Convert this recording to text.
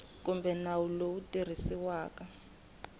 kumbe nawu lowu tirhisiwaka wa